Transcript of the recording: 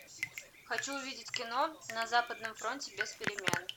хочу увидеть кино на западном фронте без перемен